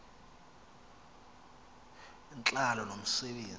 intlalo nomse benzi